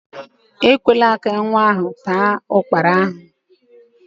Ekwela ka nwa ahụ taa ukpara a!